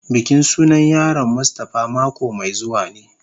Bikin sunan yaron mustafa mako mai zuwa ne.